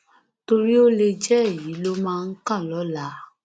torí ó lè jẹ ẹyin ló máa kàn lọlaa